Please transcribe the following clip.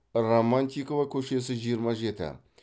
романтикова көшесі жиырма жеті